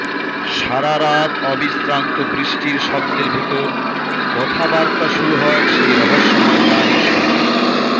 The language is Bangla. সারারাত অবিশ্রান্ত বৃষ্টির শব্দের ভেতর কথাবার্তা শুরু হয় সেই রহস্যময় নারীর সঙ্গে